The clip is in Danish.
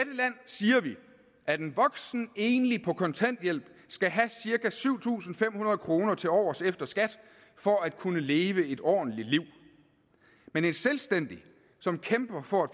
siger vi at en voksen enlig på kontanthjælp skal have cirka syv tusind fem hundrede kroner tilovers efter skat for at kunne leve et ordentligt liv men en selvstændig som kæmper for at